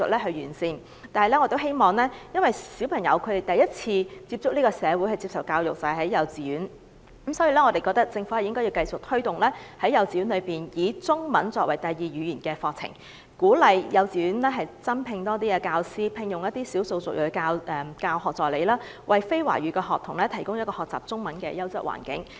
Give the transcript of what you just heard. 同時，由於小朋友首次接觸社會及接受教育是由幼稚園開始，故此，我們認為政府應繼續推動幼稚園以中文作為第二語言的課程，鼓勵幼稚園增聘多一些教師及聘用少數族裔教學助理，為非華語學童提供一個學習中文的優質環境。